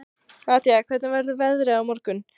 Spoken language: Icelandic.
Nadia, hvernig verður veðrið á morgun?